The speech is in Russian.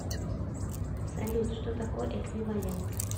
салют что такое эквивалент